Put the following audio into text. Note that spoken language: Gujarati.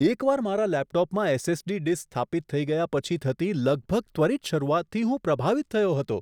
એકવાર મારા લેપટોપમાં એસ.એસ.ડી. ડિસ્ક સ્થાપિત થઈ ગયા પછી થતી લગભગ ત્વરિત શરૂઆતથી હું પ્રભાવિત થયો હતો.